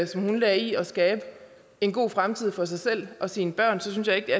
som hun lagde i at skabe en god fremtid for sig selv og sine børn så synes jeg ikke